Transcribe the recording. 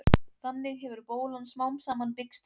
þannig hefur bólan smám saman byggst upp